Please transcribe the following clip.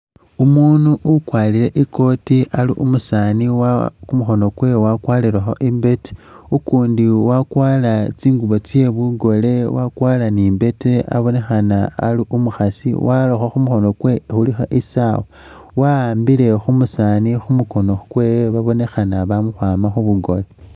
Umunu ukwarire i'koti ali umusaani wa kumukhono kwewe wakwarirekho imbete, ukundi wakwara tsingubo tsye bugole, wakwara ni imbete abonekhana ali umukhaasi warakho khumukhono kwewe khulikho isaawa, wa'ambile khumusaani khumukhono kwewe babonekhana bamakhwama khubugoole